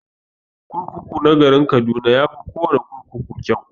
Kurkuku na garin kaduna yafi kawana kurkuku kyau.